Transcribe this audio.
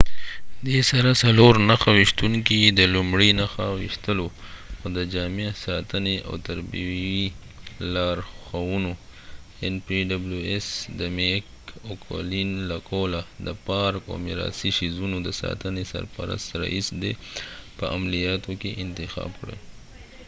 د میک او قلین له قوله د پارک او میراثي څیزونو د ساتنې سرپرست رییس د npws سره څلور نښه ویشتونکي د لومړۍ نښه ویشتلو او د جامع ساتنې او تربیوي لارښوونو په عملیاتو کې انتخاب کړل